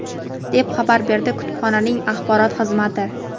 deb xabar berdi kutubxonaning axborot xizmati.